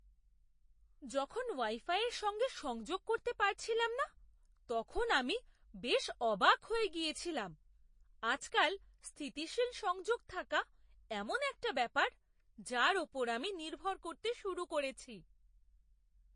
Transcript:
যখন ওয়াই ফাইয়ের সঙ্গে সংযোগ করতে পারছিলাম না, তখন আমি বেশ অবাক হয়ে গিয়েছিলাম। আজকাল স্থিতিশীল সংযোগ থাকা এমন একটা ব্যাপার যার উপর আমি নির্ভর করতে শুরু করেছি।